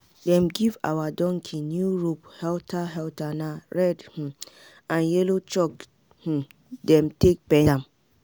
them give our donkey new rope halter halter na red um and yellow chalk um them take paint am.